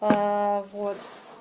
вот